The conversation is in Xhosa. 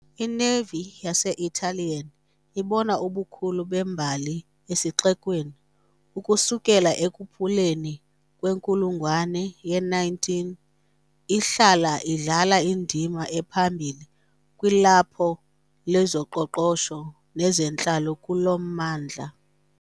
I -Navy yase-Italian ibona ubukho bembali esixekweni, ukusukela ekupheleni kwenkulungwane ye-19 , ihlala idlala indima ephambili kwilaphu lezoqoqosho nezentlalo kulo mmandla.